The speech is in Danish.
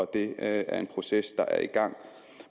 det er en proces der er i gang